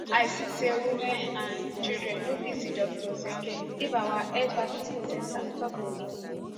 i see say women and children no fit see doctors again if our health facility centre stop dey work